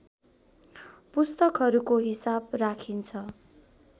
पुस्तकहरुको हिसाब राखिन्छ